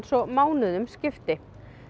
svo mánuðum skiptir